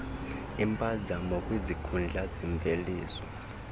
iimpazamo kwizikhundla zemveliso